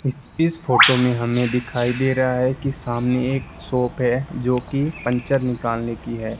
इस फोटो में हमें दिखाई दे रहा है कि सामने एक शॉप है जो की पंचर निकालने की है।